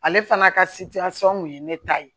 Ale fana ka kun ye ne ta ye